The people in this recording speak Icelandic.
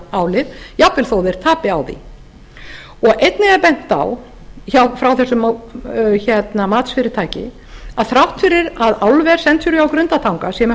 álið jafnvel þó þeir tapi á því og einnig er bent á frá þessu matsfyrirtæki að þrátt fyrir að álver century